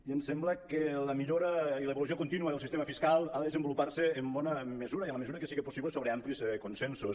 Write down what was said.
i ens sembla que la millora i l’evolució contínua del sistema fiscal ha de desenvolupar·se en bona mesura i en la mesura que sigui possible so·bre amplis consensos